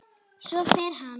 Svo fer hann.